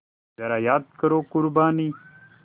ज़रा याद करो क़ुरबानी